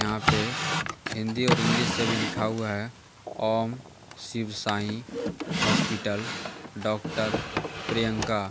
यहां पे हिंदी और इंग्लिश से भी लिखा हुआ है ओम शिव साईं हॉस्पिटल डॉक्टर प्रियंका ।